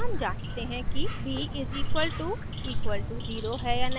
फिर हम जांचते हैं कि b == 0 है या नहीं